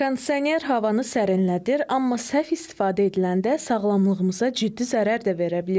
Kondisioner havanı sərinlədir, amma səhv istifadə ediləndə sağlamlığımıza ciddi zərər də verə bilir.